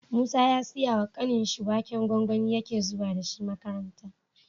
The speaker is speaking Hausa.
Musa ya siya wa kanin shi waken gwangwani yake zuwa dashi makaranta